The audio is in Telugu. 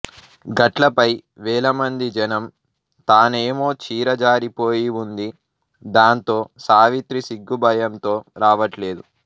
గట్లపై వేలమంది జనం తానేమో చీర జారిపోయివుంది దాంతో సావిత్రి సిగ్గు భయంతో రావట్లేదు